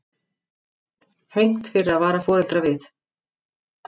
Hegnt fyrir að vara foreldra við